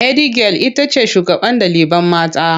Hedigyal itace shugaban ɗalibai mata